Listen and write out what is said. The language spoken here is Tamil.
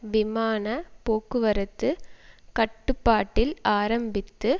விமான போக்குவரத்து கட்டுப்பாட்டில் ஆரம்பித்து